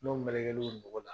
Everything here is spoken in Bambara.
N'o melekelen o nogo la